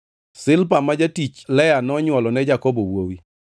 Zilpa ma jatich Lea nonywolo ne Jakobo wuowi.